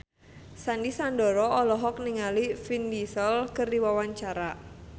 Sandy Sandoro olohok ningali Vin Diesel keur diwawancara